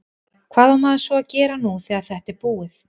Hvað á maður svo að gera nú þegar þetta er búið?